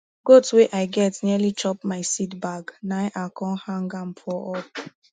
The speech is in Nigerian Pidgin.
goat wey i get nearly chop my seed bag na i com hang ahm for up